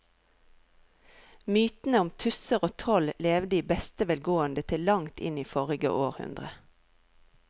Mytene om tusser og troll levde i beste velgående til langt inn i forrige århundre.